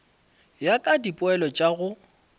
ya ka dipoelo tša go